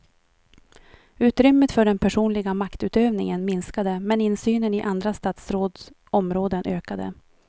Utrymmet för den personliga maktutövningen minskade men insynen i andra statsråds områden ökade.